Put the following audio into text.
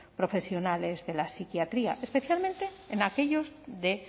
profesionales de la psiquiatría especialmente en aquellos de